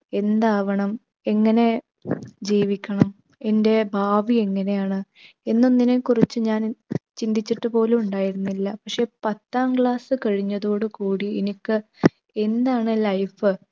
എന്താവണം? എങ്ങനെ ജീവിക്കണം? എൻ്റെ ഭാവി എങ്ങനെയാണ്? എന്നൊന്നതിനെക്കുറിച്ച് ഞാൻ ചിന്തിച്ചിട്ടുപോലും ഉണ്ടായിരുന്നില്ല. പക്ഷെ പത്താം class കഴിഞ്ഞതോടുകൂടി എനിക്ക് എന്താണ് life